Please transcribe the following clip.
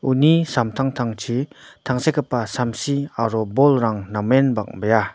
uni samtangtangchi tangsekgipa samsi aro bolrang namen bang·bea.